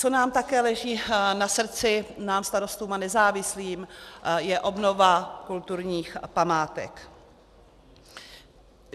Co nám také leží na srdci, nám Starostům a nezávislým, je obnova kulturních památek.